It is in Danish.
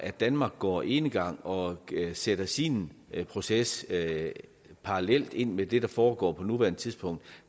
at danmark går enegang og sætter sin proces parallelt ind i det der foregår på nuværende tidspunkt